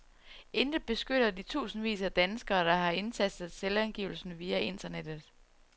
Intet beskytter de tusindvis af danskere, der har indtastet selvangivelser via internettet.